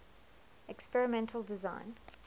experimental design